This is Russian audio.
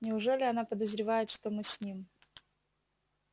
неужели она подозревает что мы с ним